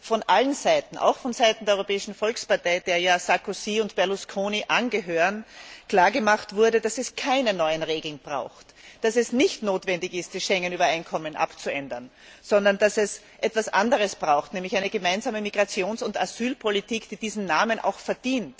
von allen Seiten, auch von Seiten der Europäischen Volkspartei, der ja Sarkozy und Berlusconi angehören, klar gemacht wurde, dass wir keine neuen Regeln brauchen, dass es nicht notwendig ist, das Schengen Übereinkommen abzuändern, sondern dass wir etwas anderes brauchen, nämlich eine gemeinsame Migrations und Asylpolitik, die diesen Namen auch verdient.